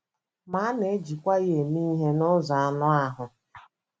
Ma, a na - ejikwa ya eme ihe n’ụzọ anụ ahụ́.